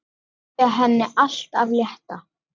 Segja henni allt af létta.